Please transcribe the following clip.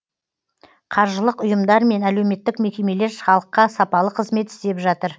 қаржылық ұйымдар мен әлеуметтік мекемелер халыққа сапалы қызмет істеп жатыр